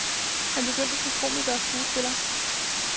Han begyndte som komiker og skuespiller.